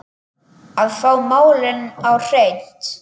Að fá málin á hreint